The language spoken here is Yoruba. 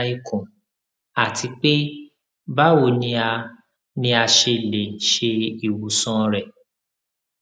kí ló ń fa ìrora ikùn àti pé báwo ni a ni a ṣe lè ṣe ìwòsàn rẹ